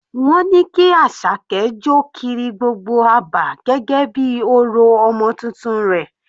Wọ́n ní kí Asake jọ kiri gbogbo abà gẹ́gẹ́ bí orò ọmọ titun rẹ̀.